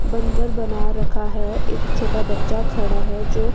बंदर बना रखा है एक छोटा बच्चा खड़ा है जो--